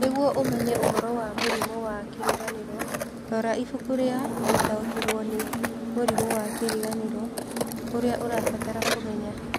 Nĩguo ũmenye ũhoro wa mũrimũ wa kĩriganĩro, rora ibuku rĩa 'Gũtaũkĩrwo nĩ mũrimũ wa kĩriganĩro' :ũrĩa ũrabatara kũmenya.